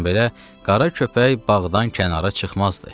Bundan belə qara köpək bağdan kənara çıxmazdı.